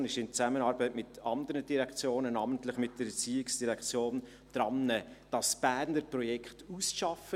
Die VOL ist in Zusammenarbeit mit anderen Direktionen, namentlich mit der ERZ, dabei, das Berner Projekt auszuarbeiten.